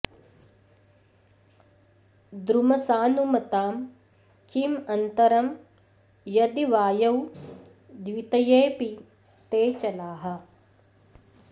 द्रुमसानुमतां किं अन्तरं यदि वायौ द्वितयेऽपि ते चलाः